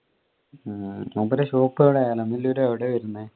മൂപ്പരെ shop എവിടെ ബാംഗ്ലൂര് എവിടെയാ വരുന്നേ